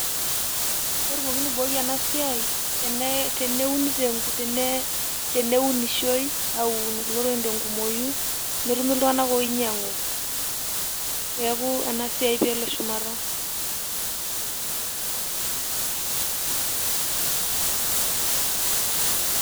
Ketumokini aaiboi ena siaai teneunishoi aunu kulo tokitik tenkumoyu netumi iltunganak ooinyiang'u peeku ena siaa peelo shumata.